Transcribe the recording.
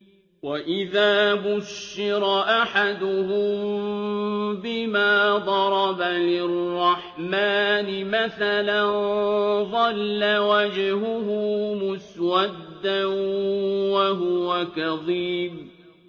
وَإِذَا بُشِّرَ أَحَدُهُم بِمَا ضَرَبَ لِلرَّحْمَٰنِ مَثَلًا ظَلَّ وَجْهُهُ مُسْوَدًّا وَهُوَ كَظِيمٌ